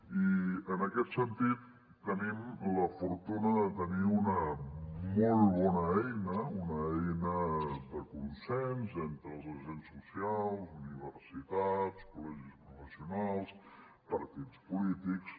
i en aquest sentit tenim la fortuna de tenir una molt bona eina una eina de consens entre els agents socials universitats col·legis professionals partits polítics